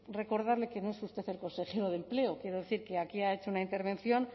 recordarle que no es usted el consejero de empleo quiero decir que aquí ha hecho una intervención